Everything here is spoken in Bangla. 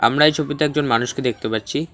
আমরা এই ছবিতে একজন মানুষকে দেখতে পাচ্ছি।